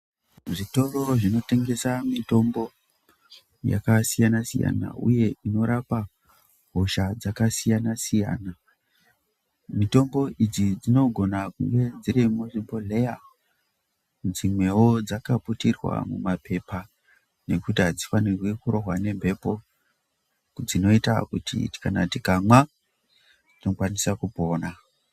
Zvitoro zvinotengesa mitombo yakasiyana siyana uye inorapa hosha dzakasiyanasiyana. Mitombo idzi dzinogona kunge dziri muzvibhehleya dzimwewo dzakaputirwa mumba pepa nekuti hadzifanirwe kurohwa nemhepo dzinoita kuti kana tikamwa, tinokwanisa kupona.